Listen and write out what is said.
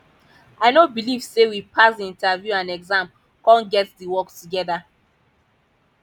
i no believe say we pass the interview and exam come get the work together